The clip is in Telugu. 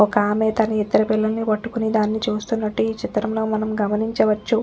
ఒక్కామే తన ఇద్దరి పిల్లల్ని పట్టుకొని దాన్ని చూస్తున్నట్లు ఈ చిత్రంలో మనం గమనించవచ్చు.